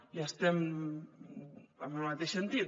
i estem en el mateix sentit